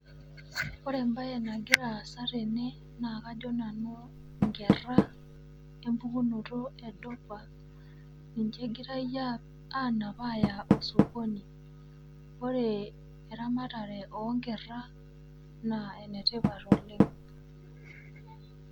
Ore embaye nagira aasa tene naa kajo nanu inkerra empukunoto e dopa ninche egirai anap aya osokoni. Kore eramatare oonkerra naa enetipat oleng'.